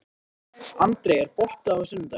André, er bolti á sunnudaginn?